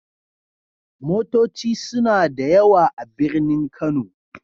Motoci suna da yawa a birnin Kano.